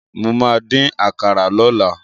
Mo ma dín àkàrà lọ́la.